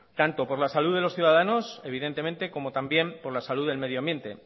tanto por la salud de los ciudadanos evidentemente como también por la salud del medioambiente